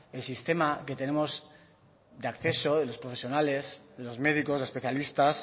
el sistema que tenemos de acceso de los profesionales de los médicos de los especialistas